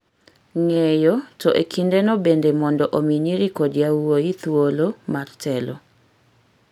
ng’eyo, to e kindeno bende mondo omi nyiri kod yawuowi thuolo mar telo.